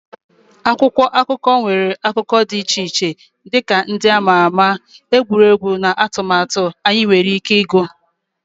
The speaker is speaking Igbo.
Akwụkwọ akụkọ nwere akụkụ dị iche-iche dị ka ndị a ma ama, egwuregwu, na atụmatụ anyị nwere ike ịgụ.